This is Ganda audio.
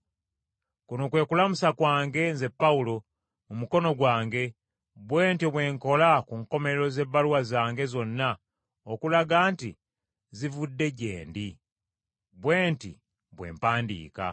Kuno kwe kulamusa kwange, nze Pawulo, mu mukono gwange, bwe ntyo bwe nkola ku nkomerero z’ebbaluwa zange zonna okulaga nti zivudde gye ndi. Bwe nti bwe mpandiika.